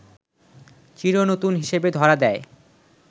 চির নতুন হিসেবে ধরা দেয়